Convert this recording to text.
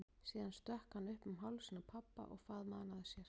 Síðan stökk hann upp um hálsinn á pabba og faðmaði hann að sér.